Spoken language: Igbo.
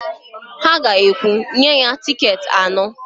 Ha ga-ekwu, "nye anyị tịketị anọ"!